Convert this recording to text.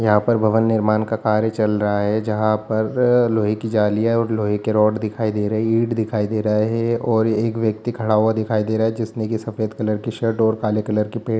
यहाँ पर भवन निर्माण का कार्य चल रहा है जहाँ पर लोहे की जालियां और लोहे के रॉड दिखाई दे रही है ईंटें दिखाई दे रहा है और एक व्यक्ति खड़ा हुआ दिखाई दे रहा है जिसने की सफ़ेद कलर की शर्ट और काले कलर की पैंट --